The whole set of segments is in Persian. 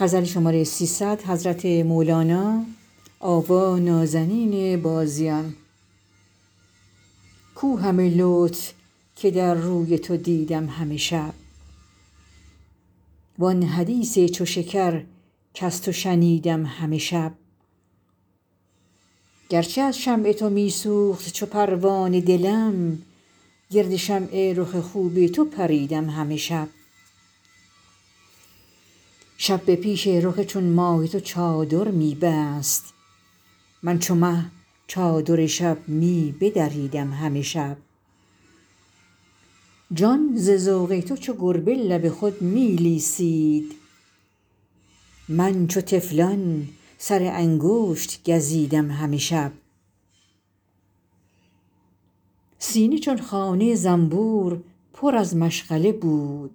کو همه لطف که در روی تو دیدم همه شب وآن حدیث چو شکر کز تو شنیدم همه شب گرچه از شمع تو می سوخت چو پروانه دلم گرد شمع رخ خوب تو پریدم همه شب شب به پیش رخ چون ماه تو چادر می بست من چو مه چادر شب می بدریدم همه شب جان ز ذوق تو چو گربه لب خود می لیسید من چو طفلان سر انگشت گزیدم همه شب سینه چون خانه زنبور پر از مشغله بود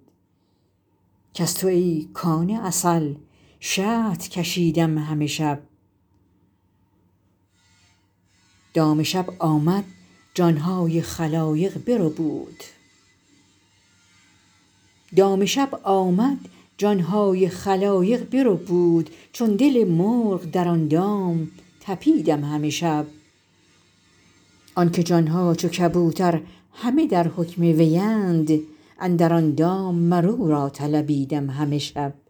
کز تو ای کان عسل شهد کشیدم همه شب دام شب آمد جان های خلایق بربود چون دل مرغ در آن دام طپیدم همه شب آنکه جان ها چو کبوتر همه در حکم وی اند اندر آن دام مر او را طلبیدم همه شب